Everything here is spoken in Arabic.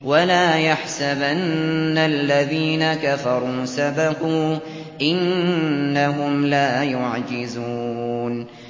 وَلَا يَحْسَبَنَّ الَّذِينَ كَفَرُوا سَبَقُوا ۚ إِنَّهُمْ لَا يُعْجِزُونَ